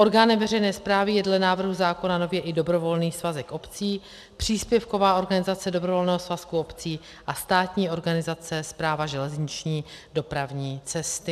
Orgánem veřejné správy je dle návrhu zákona nově i dobrovolný svazek obcí, příspěvková organizace dobrovolného svazku obcí a státní organizace Správa železniční dopravní cesty.